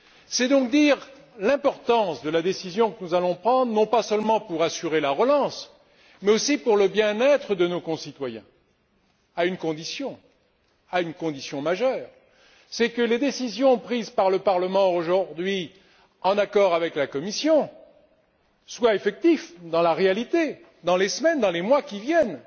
C'est donc dire l'importance de la décision que nous allons prendre, non seulement pour assurer la relance, mais aussi pour le bien être de nos concitoyens, à une condition majeure c'est que les décisions prises par le Parlement aujourd'hui, en accord avec la Commission, soient effectives dans la réalité, dans les semaines et dans les mois qui viennent.